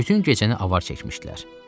Bütün gecəni avar çəkmişdilər.